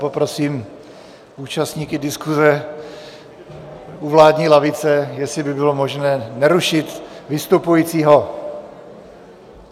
Poprosím účastníky diskuse u vládní lavice, jestli by bylo možné nerušit vystupujícího.